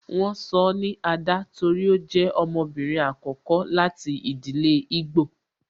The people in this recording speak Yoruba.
Won sọ ni Ada torí ó jẹ ọmọbìnrin àkọ́kọ́ láti ìdílé igbo